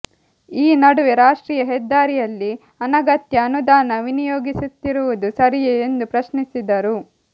ಈ ನಡುವೆ ರಾಷ್ಟ್ರೀಯ ಹೆದ್ದಾರಿಯಲ್ಲಿ ಅನಗತ್ಯ ಅನುದಾನ ವಿನಿಯೋಗಿಸುತ್ತಿರುವುದು ಸರಿಯೇ ಎಂದು ಪ್ರಶ್ನಿಸಿದರು